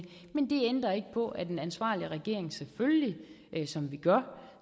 men det ændrer ikke på at en ansvarlig regering selvfølgelig som vi gør